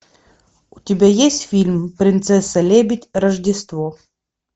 у тебя есть фильм принцесса лебедь рождество